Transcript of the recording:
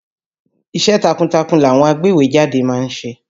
Iṣẹ́ takuntakun làwọn agbéwèé jáde ma ń ṣe.